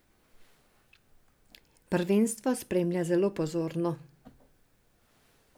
Prvenstvo spremlja zelo pozorno.